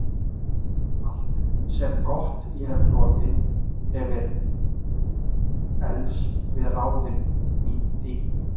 Allt, sem gott ég hefi hlotið, hefir eflst við ráðin þín.